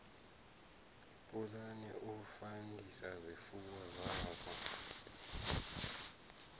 pulana u fandisa zwifuwo zwavho